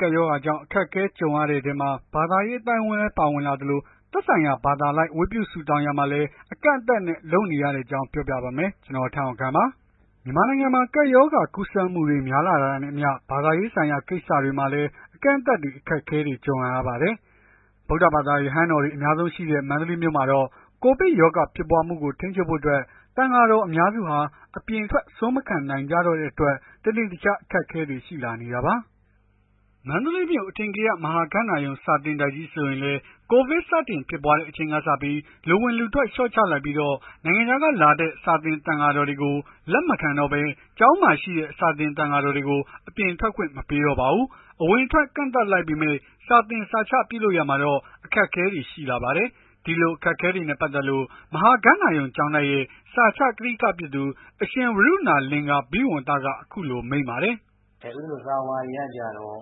ကပ်ရောဂါကြောင့် အခက်အခဲ ကြုံရတဲ့အထဲမှာ ဘာသာရေး အသိုင်းအဝန်းလည်း ပါဝင်လာနေသလို သက်ဆိုင်ရာ ဘာသာအလိုက် ဝတ်ပြုဆုတောင်းရာမှာလည်း အကန့်အသတ်နဲ့ လုပ်နေရတဲ့အကြောင်းကို ဗွီအိုအေမြန်မာပိုင်းသတင်းထောက် ကိုထက်အောင်ခန့်က ပြောပြပါမယ်။ မြန်မာနိုင်ငံမှာ ကပ်ရောဂါ ကူးစက်မှုတွေ များလာတာနဲ့အမျှ ဘာသာရေးဆိုင်ရာ ကိစ္စတွေမှာလည်း အကန့်အသတ်တွေ၊ အခက်အခဲတွေ ကြုံလာပါတယ်။ ဗုဒ္ဓဘာသာ ရဟန်းတော်တွေ အများဆုံးရှိတဲ့ မန္တလေးမြို့မှာတော့ ကိုဗစ်ရောဂါ ဖြစ်ပွားမှုကို ထိန်းချုပ်ဖို့ အတွက် သံဃာတော် အများစုဟာ အပြင်ထွက် ဆွမ်းမခံနိုင်ကြတော့တဲ့အတွက် တနေ့တခြား အခက်အခဲတွေ ရှိလာနေတာပါ။ မန္တလေးမြို့ အထင်ကရ မဟာဂန္ဓာရုံ စာသင်တိုက်ကြီးဆိုရင်လည်း ကိုဗစ်စတင်ဖြစ်ပွားတဲ့အချိန်ကစပြီး လူဝင်လူထွက် လျှော့ချလိုက်ပြီး နိုင်ငံခြားကနေလာတဲ့ စာသင်သံဃာတော်တွေကို လက်မခံတော့ဘဲ ကျောင်းမှာရှိတဲ့ စာသင်သံဃာတော်တွေကို အပြင်ထွက်ခွင့်မပေးတော့ပါဘူး။ အဝင်အထွက် ကန့်သတ်လိုက်ပေမဲ့ စာသင်စာချပြုလုပ်ရာမှာတော့ အခက်အခဲတွေ ရှိလာပါတယ်။ ဒီအခက်အခဲတွေနဲ့ ပတ်သက်လို့ မဟာဂန္ဓာရုံကျောင်းတိုက်ရဲ့ စာချကထိကဖြစ်သူ အရှင်ဝရုဏာ လင်္ကာရာဘိဝံသက အခုလို မိန့်ပါတယ်။ “ဦးဇင်းတို့စာဝါတွေကကျတော့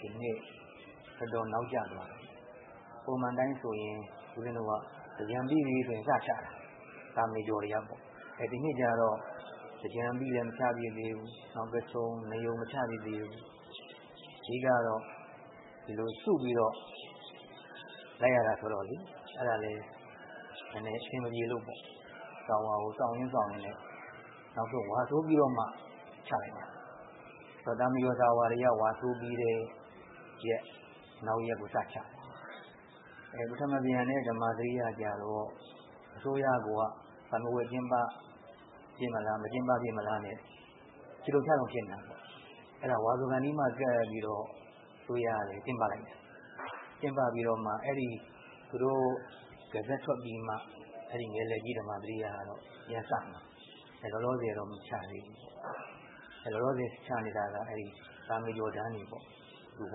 ဒီနှစ်တော်တော်နောက်ကျသွားပြီ။ ပုံမှန်အတိုင်းဆို သင်္ကြန်ပြီးရင် စချတာ သာမဏေကျော်တွေကပေါ့။ ဒီနှစ်လည်းကျတော့ သင်္ကြန်ပြီးလည်း မချဖြစ်သေးဘူး။ နောက်ပိတ်ဆုံး နယုန် မချဖြစ်သေးဘူး။ အဓိက ကတော့ စုပြီးတော့ လိုက်ရတာဆိုတော့လေ။ အဲ့ဒါလည်း နည်းနည်း အဆင်မပြေလို့ပေါ့။ စာဝါကို စောင်ရင်းစောင့်ရင်းနဲ့ နောက်ဆုံး ဝါဆိုပြီးတော့မှ ချဖြစ်တယ်။ သာမဏေကျော်တွေက စာဝါကို ဝါဆိုပြီးတဲ့ရက် နောက်ရက်ကိုချတယ်။ ပထမံပြန်နဲ့ ဓမာစရိယကျတော့ အစိုးရကိုက စာမေးပွဲ ကျင်းပဖြစ်မလား မကျင်းပဖြစ်မလားနဲ့ ချိတုံချတုံဖြစ်နေတာ။ အဲ့တော့ ဝါဆိုကာနီးမှ ကပ်ပြီး အစိုးရက ကျင်းပလိုက်တယ်။ ကျင်းပပြီးတော့မှ သူတို့ Result ထွက်ပြီးမှ ဓမ္မာစရိယက ပြန်စမှာ။ လောလောဆယ်တော့ မချသေးဘူး။ လောလောဆယ် ချနေတာက သာမဏေကျော်တန်းတွေပေါ့။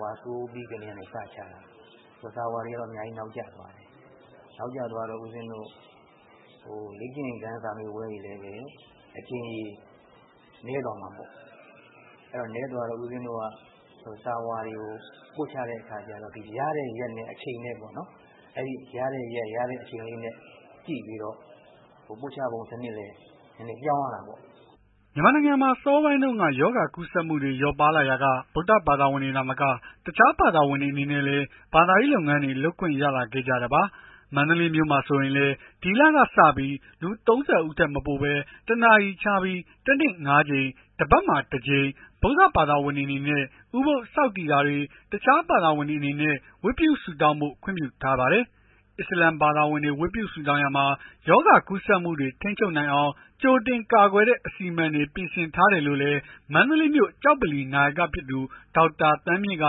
ဝါဆိုပြီးကတည်းက စချတာ။ စာဝါတွေက နောက်ကျသွားတယ်။ နောက်ကျသွားတော့ ဦးဇင်းတို့ လေ့ကျင့်ခန်းစာမေးပွဲ အကြိမ်ရေ နည်းသွားမှာပေါ့။ နည်းသွားတော့ စာဝါတွေကို ပို့ချတဲ့အခါကျတော့ ရတဲ့ရက်ရယ်အချိန်ရယ်။ ပို့ချပုံစနစ်လည်း ပြောင်းရတာပေါ့။" မြန်မာနိုင်ငံမှာ အစောပိုင်းတုန်းက ရောဂါကူးစက်မှုတွေ လျော့ပါးလာရာက ဗုဒ္ဓဘာသာဝင်တွေ သာမက တခြားဘာသာဝင်တွေ အနေနဲ့လည်း ဘာသာရေးလုပ်ငန်းတွေ လုပ်ခွင့်ရလာခဲ့ကြတာပါ။ မန္တလေးမြို့မှာဆိုရင်လည်း ဒီလလည်ကစပြီး လူ ၃၀ ဦးထက်မပိုဘဲ ၁ နာရီခြားပြီး တနေ့ ၅ ကြိမ်တပတ်မှာ တကြိမ် ဗုဒ္ဓဘာသာဝင်တွေအနေနဲ့ ဥပုဒ်ဆောက်တည်တာတွေ အခြားဘာသာဝင်တွေအနေနဲ့ ဝတ်ပြုဆုတောင်းဖို့ ခွင့်ပြုထားပါတယ်။ အစ္စလာမ်ဘာသာဝင်တွေ ဝတ်ပြုဆုတောင်းရာမှာ ရောဂါကူးစက်မှုတွေကို ထိန်းချုပ်နိုင်အောင် ကြိုတင်ကာကွယ်တဲ့ အစီအမံတွေ ပြင်ဆင်ထားတယ်လို့လည်း မန္တလေးမြို့ ကျောက်ဗလီ နာယကဖြစ်သူ ဒေါက်တာ သန်းမြင့်က...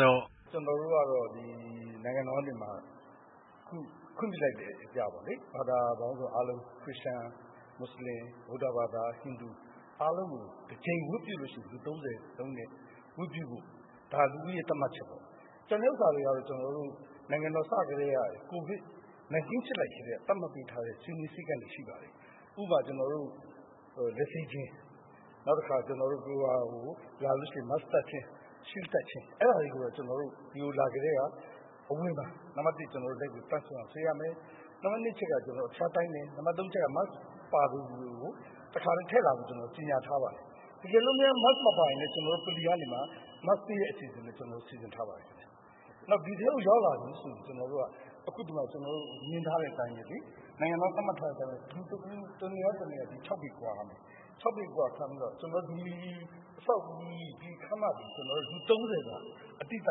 “ကျနော်တို့ကတော့ နိုင်ငံတော်က ခွင့်ပြုလိုက်တဲ့အရပေါ့လေ။ ဘာသာပေါင်းစုံအားလုံး ခရစ်ယာန်၊ မွတ်စလင်၊ ဗုဒ္ဓဘာသာ၊ ဟိန္ဒူ တကြိမ် ဝတ်ပြုလို့ရှိရင် လူ ၃၀ ဝတ်ပြုဖို့ ဒါလူဦးရေ သတ်မှတ်ချက်ပေါ့။ ကျန်တဲ့ဟာတွေကျတော့ ကိုဗစ်စဖြစ်ကတည်းက သတ်မှတ်လိုက်တဲ့ စည်းမျဉ်းစည်းကမ်းတွေ ရှိပါတယ်။ ဥပမာ ကျနော်တို့ လက်ဆေးခြင်း Mask တပ်ခြင်း၊ Shield တပ်ခြင်း အဲ့ဒါတွေကို ဒီကိုလာကတည်းက အဝင်မှာ နံပတ် ၁ လက်ကိုသန့်စင်အောင်ဆေးရမယ်။ နံပါတ် ၂ အချက်က ကျနော်တို့ အဖျားတိုင်းတယ်။ နံပါတ် ၃ အချက်က Mask ပါသူကို တခါတည်း ထည့်လာဖို့ပြောတယ်။ တကယ်လို့ Mask မပါရင်လည်း ကျနော်တို့ ဗလီကနေမှ Mask ပေးတဲ့ အစီအစဉ်တွေ ကျနော်တို့ စီစဉ်ထားပါတယ်ခင်ဗျ။ နောက်ဒီထဲကို ရောက်လာပြီဆိုရင် ကျနော်တို့ နိုင်ငံတော်က သတ်မှတ်ထားတဲ့ အတိုင်းပဲ လူတဦး တနေရာနဲ့ တနေရာ ၆ ပေကွာရမယ်။ ဒီခန်းမမှာ လူ ၃၀ စာ အတိအကျ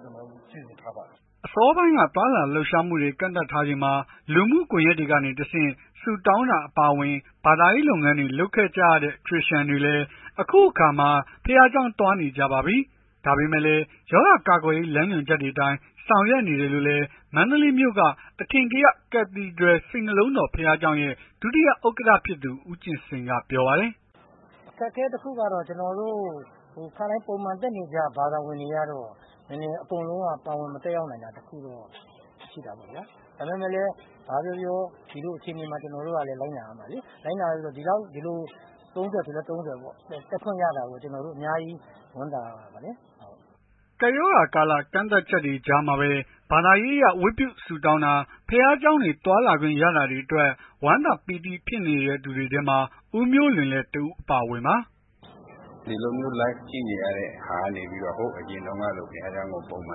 စီစဉ်ထားပါတယ်။” အစောပိုင်း သွားလာလှုပ်ရှားမှုတွေ ကန့်သတ်ထားချိန်မှာ လူမှုကွန်ယက်တွေကနေ ဆုတောင်းတာ အပါအဝင် ဘာသာရေးလုပ်ငန်းတွေ လုပ်ခဲ့ကြရတဲ့ ခရစ်ယာန်တွေလည်း အခုအခါ ဘုရားကျောင်းသွားနေကြပါပြီ။ ဒါပေမဲ့လည်း ရောဂါကာကွယ်ရေး လမ်းညွှန်ချက်တွေအတိုင်း ဆောင်ရွက်နေတယ်လို့လည်း မန္တလေးမြို့က အထင်ကရ Cathedral စိတ်နှလုံးတော် ဘုရားကျောင်းရဲ့ ဒုတိယဥက္ကဋ္ဌ ဖြစ်သူ ဦးကြင်စိန်က ပြောပါတယ်။ “အခက်အခဲတခုကတော့ ကျနော်တို့ ပုံမှန်တက်နေကြ ဘာသာဝင်တွေကတော့ နည်းနည်းတော့ အကုန်လုံး ပါဝင်မတက်ရောက်နိုင်တာ တခုတော့ ရှိတာပေါ့ဗျာ။ ဘာပဲပြောပြော ဒီလိုအခြေအနေမှာ ကျွန်တော်တို့က လိုက်နာရမယ်လေ။ လိုက်နာရမယ်ဆိုတော့ ဒီလို ၃၀ ဆိုလည်း ၃၀ ပေါ့။ တက်ခွင့်ရတာကိုပဲ အများကြီး ဝမ်းသာရပါတယ်။” ကပ်ရောဂါကာလ ကန့်သတ်ချက်တွေ ကြားမှာပဲ ဘာသာရေးအရ ဝတ်ပြုဆုတောင်းတာ ဘုရားကျောင်းတွေ သွားခွင့်ရလာတာတွေအတွက် ဝမ်းသာပီတိ ဖြစ်နေသူတွေထဲမှာ ဦးမျိုးလွင်လည်း တဦးအပါအဝင်ပါ။ “ဒီလိုမျိုး Live ကြည့်နေရတဲ့ဟာကနေ ဟိုးအရင်တုန်းကလို ဘုရားကျောင်းကို ပုံမှ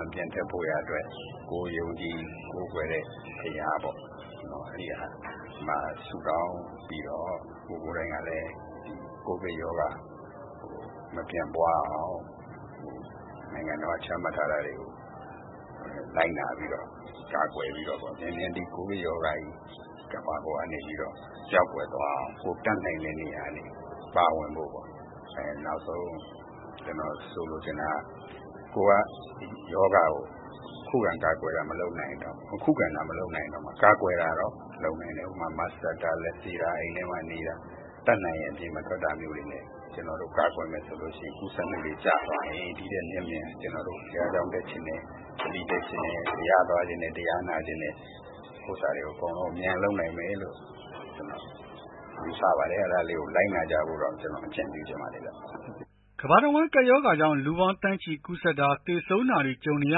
န်ပြန်တက်ဖို့ရာအတွက် ကိုယ်ယုံကြည်ကိုးကွယ်တဲ့ ဘုရားပေါ့ ဘုရားမှာ ဆုတောင်းပြီးတော့ ကိုယ်ကိုယ်တိုင်ကလည်း ကိုဗစ်ရောဂါ မပြန့်ပွားအောင် နိုင်ငံတော်က ချမှတ်ထားတာတွေကို လိုက်နာပြီးတော့ ကာကွယ်ပြီးတော့ မြန်မြန် ဒီကိုဗစ်ရောဂါကြီး ကမ္ဘာပေါ်ကနေပြီးတော့ ပျောက်ကွယ်သွားအောင် ကိုယ်တတ်နိုင်တဲ့နေရာကနေ ပါဝင်ဖို့။ နောက်ဆုံး ကျနော် လိုချင်တာ ခုခံကာကွယ်တာ မလုပ်နိုင်ရင်တောင် ခုခံတာ မလုပ်နိုင်ရင်တောင် ကာကွယ်တာတော့ လုပ်နိုင်တယ်။ ဥပမာ Mask တပ်တာ လက်ဆေးတာ အိမ်ထဲမှာနေတာ တတ်နိုင်ရင် အပြင်မထွက်တာမျိုးတွေ ကာကွယ်မယ်ဆိုရင် ကူးစက်မှုတွေကျသွားရင် ဒီထက်မြန်မြန် ဘုရားကျောင်း တက်ချင်တယ်။ ဗလီတက်ချင်တယ်။ ဘုရားသွားချင်တယ်။ တရားနာချင်တဲ့ ဥစ္စာတွေကို အမြန်ဆုံး ပြန်လုပ်နိုင်မယ်လို့ ယူဆပါတယ်။ အဲ့ဒါလေးကို လိုက်နာကြဖို့တော့ ကျနော် အကြံပြုချင်ပါတယ်။” ကမ္ဘာတဝန်း ကပ်ရောဂါကြောင့် လူပေါင်းသန်းချီ ကူးစက်တာ သေဆုံးတာတွေ ကြုံနေရ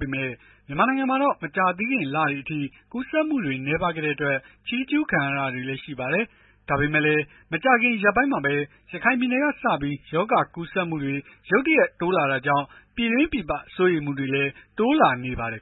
ပေမဲ့ မြန်မာနိုင်ငံမှာတော့ မကြာသေးခင်လတွေအထိ ကူးစက်မှုတွေ နည်းပါးခဲ့တဲ့အတွက် ချီးကျုးခံခဲ့ရတာတွေလည်း ရှိပါတယ်။ ဒါပေမဲ့လည်း မကြာခင် ရက်ပိုင်းမှာပဲ ရခိုင်ပြည်နယ်ကနေစပြီး ရောဂါကူးစက်မှုတွေ ရုတ်တရက် တိုးလာတာကြောင့် ပြည်တွင်းပြည်ပ စိုးရိမ်မှုတွေလည်း တိုးလာနေပါတယ်